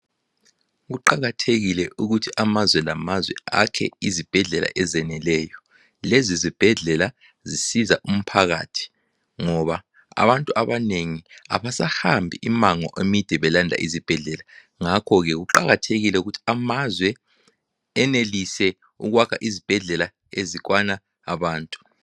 Kuqakathekile ukuthi amazwe lamazwe akhe izibhedlela ezeneleyo. Lezibhedlela zisiza umphakathi ngoba abantu abanengi abasahambi imango emide belanda izibhedlela ngakho ke kuqakathekile ukuthi amazwe enelise ukwakha izibhedlela ezikwana abantu.